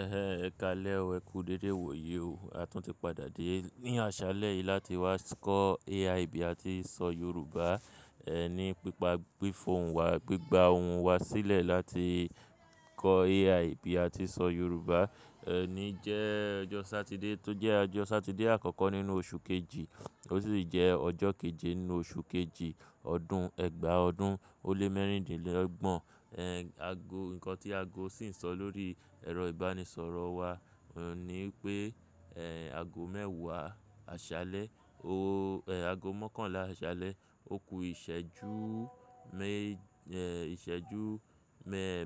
Ẹ̀hẹ̀n, ẹkálẹ́ oo ẹkú dédé iwòyí o. A tún ti padà dé ní àṣálẹ́ yìí láti wá kọ́ AI bì àti sọ Yorùbá. Ẹ ní pípa gbí fóònù wa, gbígbà ohùn wa sílẹ̀ láti kọ́ AI bì àti sọ Yorùbá. Ẹ ni jẹ́ ọjọ́ Sátidé, tó jẹ́ ọjọ́ Sátidé àkọ́kọ́ nínú oṣù kejì, ó sì jẹ́ ọjọ́ kejì nínú oṣù kejì, ọdún ẹgba ọdún òle mẹ́rìndínlọ́gbọ̀n. Ẹ̀h, ago, ǹkan tí ago sì ń sọ lórí ẹ̀rọ ìbánisọ̀rọ̀ wa ni pé, ẹ̀h, ago mẹ́wàá àṣálẹ́, o, ẹ̀h, ago mọ́kànlá àṣálẹ́, òkú ìṣẹ́jú me, ẹ̀h, ìṣẹ́jú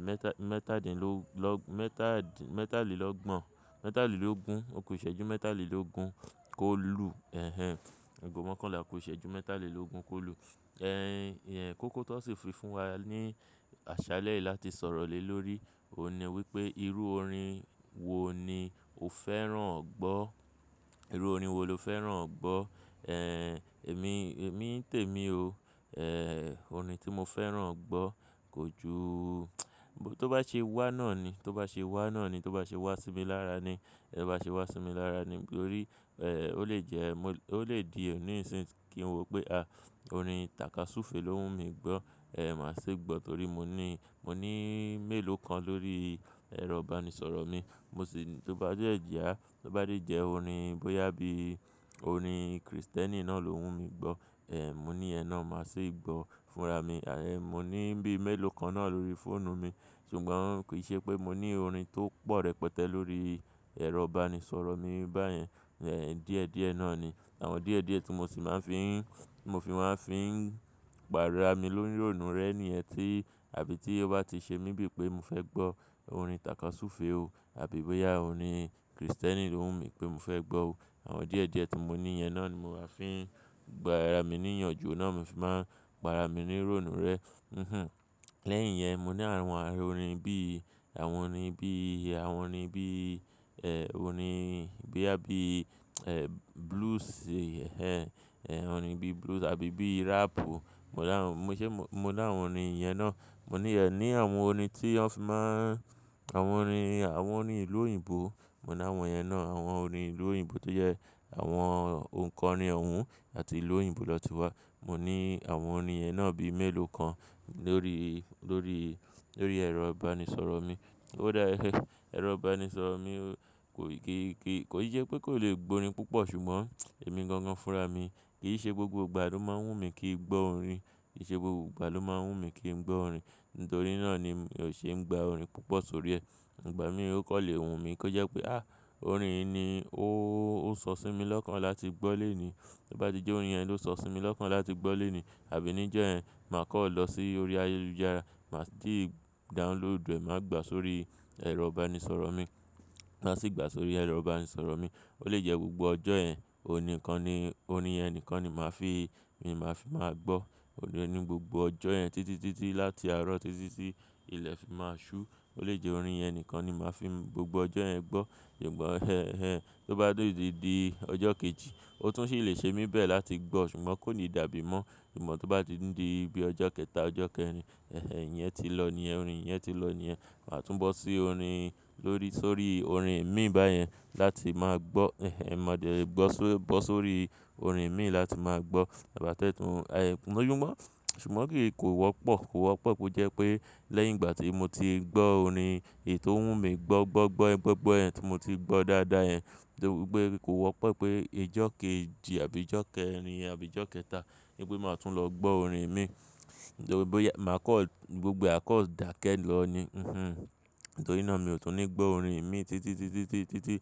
mẹ́ta, mẹ́tàdínlọ́, mẹ́tàdín, mẹ́tàlélọ́gbọ̀n, mẹ́tàlélógún, òkú ìṣẹ́jú mẹ́tàlélógún kólú. Ẹ̀hẹ̀n, ago mọ́kànlá òkú ìṣẹ́jú mẹ́tàlélógún kólú. Ẹ̀h, ìyẹn kókó tó sì fi fún wa ní àṣálẹ́ yìí láti sọ̀rọ̀ lé lórí. Ó ní wípé, irú orin wo ni o fẹ́ràn ọ̀ gbọ́? Irú orin wo lo fẹ́ràn ọ̀ gbọ́? Ẹ̀h, èmi, èmi tèmi o. Ẹ̀h, orin tí mo fẹ́ràn ọ̀ gbọ́ kò ju, tó bá ṣe wà náà ni, tó bá ṣe wà náà ni, tó bá ṣe wà sí mi lára ni, tó bá ṣe wà sí mi lára ni. Nítorí, ẹ̀h, ó lè jẹ́, ó lè di òní ìsìn kí n wo pé, àh, orin tàkasúfèé ló wù mí gbọ́. Ẹ̀h, màá ṣì gbọ́ torí mo ní, mo ní mélòó kan lórí ẹ̀rọ ìbánisọ̀rọ̀ mi. Mo sì, tó bá jẹ́ ẹ̀jìá, tó bá jẹ́ orin bóyá bí orin Kristẹ́nì náà ló wù mí gbọ́. Ẹ̀h, mo ní ìyẹ̀n náà, màá ṣì gbọ́ fúnra mi. Ẹ̀h, mo ní bíi mélòó kan náà lórí fóònù mi. Ṣùgbọ́n kì í ṣe pé mo ní orin tó pọ̀ rẹpẹtẹ lórí ẹ̀rọ ìbánisọ̀rọ̀ mi báyẹn. Ẹ̀h, díẹ̀ díẹ̀ náà ni. Àwọn díẹ̀ díẹ̀ tí mo sì máa ń fi ń, mo fi máa ń fi ń gbà ra mi lórí òòrùn rẹ̀ ni ẹ́ ti àbí tí ó bá ti ṣe mí bí pé mo fẹ́ gbọ́ orin tàkasúfèé o, àbí bóyá orin Kristẹ́nì ló wù mí pé mo fẹ́ gbọ́ o. Àwọn díẹ̀ díẹ̀ tí mo ní yẹn náà ni mo máa ń fi gbá ra mi níyànjú, ó náà mo fì máa ń pá ra mi ní ròòrùn rẹ̀. Hinhin. Lẹ́yìn yẹn, mo ní àwọn àárín orin bí i, àwọn orin bí i, àwọn orin bí i, ẹ̀h, orin bí i, bóyá bí i blues, ẹ̀hẹ̀n, ẹ̀h, orin bíi blues àbí bíi rap o. Mo dáhùn, mo ṣé, mo ní àwọn orin yẹn náà. Mo ní ẹ̀ ni àwọn orin tí wọn fi máa ń, àwọn orin, àwọn orin ìlú òyìnbó, mo ní àwọn yẹn náà. Àwọn orin ìlú òyìnbó tó jẹ́ àwọn ǹkan ni ọ̀wọ́n àti ìlú òyìnbó lọ ti wá. Mo ní àwọn orin yẹn náà bíi mélòó kan lórí, lórí, lórí ẹ̀rọ ìbánisọ̀rọ̀ mi. Ó dá, ẹ̀hẹ́, ẹ̀rọ ìbánisọ̀rọ̀ mi kò kì í, kì í, kò í ṣe pé kò lè gba orin púpọ̀, ṣùgbọ́n èmi gangan fúnra mi. Kì í ṣe gbogbo ìgbà ló máa ń wù mí kí n gbọ́ orin. Kì í ṣe gbogbo ìgbà ló máa ń wù mí kí n gbọ́ orín. Nítorí náà ni mi ò ṣe ń gba orin púpọ̀ sórí ẹ́. Ìgbà mìíràn ó kọ́ lè wù mí kó jẹ́ pé, àh, orin yìí ni ó ń sọ sí mi lọ́kàn láti gbọ́ lónìí. Tó bá ti jẹ́ orin yẹn ló ń sọ sí mi lọ́kàn láti gbọ́ lónìí, àbí níjọ́ yẹn, màá kọ́ lọ sí orí ayélujára, màá sì download rẹ̀, màá gbà á sórí ẹ̀rọ ìbánisọ̀rọ̀ mi. Màá sì gbà á sórí ẹ̀rọ ìbánisọ̀rọ̀ mi. Ó lè jẹ́ gbogbo ọjọ́ yẹn, orin kan ni, orin yẹn nìkan ni màá fi, mo máa fi máa gbọ́. Orin yẹ ni gbogbo ọjọ́ yẹn títí, títí láti àárọ̀ títí sí ilẹ̀ fi máa ṣú. Ó lè jẹ́ orin yẹn nìkan ni màá fi gbogbo ọjọ́ yẹn gbọ́. Ṣùgbọ́n ẹ́h, ẹ́h, tó bá dé dídi ọjọ́ kejì, ó tún sì lè ṣe mí bẹ́ẹ̀ láti gbọ́, ṣùgbọ́n kò ní dàbí mọ́. Ìgbà tí ó bá ti ń di bíi ọjọ́ kẹta, ọjọ́ kẹrin, ẹ̀hẹ̀n, ìyẹn ti lọ ni, orin yẹn ti lọ ni. Màá tún bọ́ sí orin lórí, sórí orin mi báyẹn láti máa gbọ́. Ẹ̀hẹ̀n, màá dé bọ́ só, bọ́ sórí orin mi láti máa gbọ́. Ìbá tẹ́tùn, a, kò yú mọ́. Ṣùgbọ́n kì í, kò wọ́pọ̀, kò wọ́pọ̀ kí ó jẹ́ pé lẹ́yìn ìgbà tí mo ti gbọ́ orin è tó wù mí gbọ́, gbọ́, gbọ́, gbọ́, gbọ́ yẹn tí mo ti gbọ́ dáadáa yẹn, torí pé kò wọ́pọ̀ pé ìjọ́ kejì àbí ìjọ́ kẹrin àbí ìjọ́ kẹta ni pé màá tún lọ gbọ́ orin mi. Nítorí bóyá màá kọ́, gbogbo ee àá kọ́ dàkẹ́ lọ ni. Hinhin. Nítorí náà mi ò tún ní gbọ́ orin mi títí, títí, títí, títí, títí,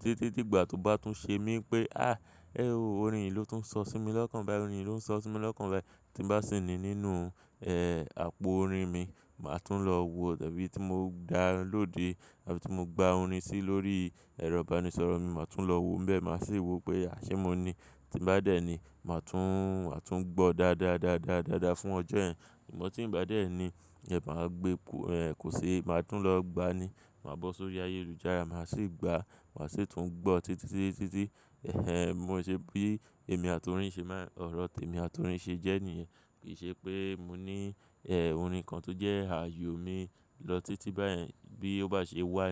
títí, títí ìgbà tó bá tún ṣe mí pé, àh, ẹ ó, orin yìí ló tún ń sọ sí mi lọ́kàn báyìí, orin yìí ló ń sọ sí mi lọ́kàn báyìí tí bá sì ní nínú, ẹ́h, àpò orin mi, màá tún lọ wo tàbí tí mo download, tàbí tí mo gbà orin sí lórí ẹ̀rọ ìbánisọ̀rọ̀ mi, màá tún lọ wo bẹ́ẹ̀, màá sì wò pé àṣé mo ní. Tí bá dẹ́ ni, màá tún, màá tún gbọ́ dáadáa, dáadáa, dáadáa fún ọjọ́ yẹn. Ṣùgbọ́n tí ń bá dẹ́ ẹ ni, ẹ má gbé, kò, ẹ́h, kò ṣe é, màá tún lọ gbani. Màá bọ́ sórí ayélujára, màá sì gba, màá sì tún gbọ́ títí, títí, títí. Ẹ̀hẹ̀n, mo ṣe bí èmi àti orin ṣe máa ń, ọ̀rọ̀ tèmi àti orin ṣe jẹ́ nìyẹn. Kì ṣe pé mo ní, ẹ́h, orin kan tó jẹ́ àyò mi lọ títí báyẹn bí ó bá ṣe wáyé.